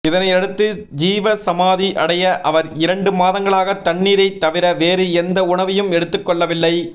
இதனை அடுத்து ஜீவசமாதி அடைய அவர் இரண்டு மாதங்களாக தண்ணீரை தவிர வேறு எந்த உணவையும் எடுத்துக் கொள்ளவில்லை